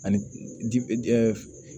Ani dibi